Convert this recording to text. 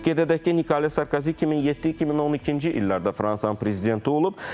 Qeyd edək ki, Nikolya Sarkozi 2007-2012-ci illərdə Fransanın prezidenti olub.